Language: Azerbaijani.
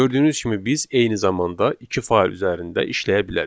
Gördüyünüz kimi biz eyni zamanda iki fayl üzərində işləyə bilərik.